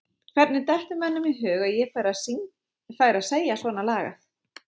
Hvernig dettur mönnum í hug að ég færi að segja svona lagað?